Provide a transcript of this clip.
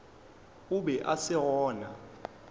o be a se gona